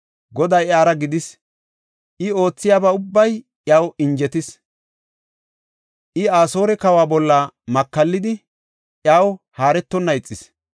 Goday iyara gidis; I oothiyaba ubbay iyaw injetis. I Asoore kawa bolla makallidi, iyaw haaretonna ixis.